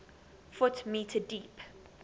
ft m deep